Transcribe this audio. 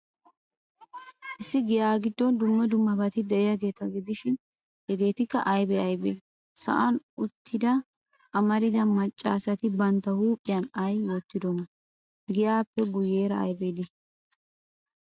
Issi giyaa giddon dumma dummabati de'iyaageeta gidishin, hegeetikka aybee aybee? Sa'an uttida amarida maccaasati bantta huuphiyan ay wottidonaa? Giyaappe guuyeera aybi de'ii?